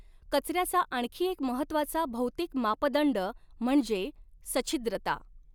कचऱ्याचा आणखी एक महत्वाचा भौतिक मापदंड म्हणजे सछिद्रता.